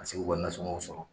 Ka se k'u ka nasɔngɔ sɔrɔ